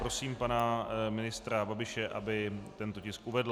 Prosím pana ministra Babiše, aby tento tisk uvedl.